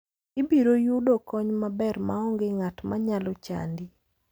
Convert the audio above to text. Ibiro yudo kony maber maonge ng'at manyalo chandi.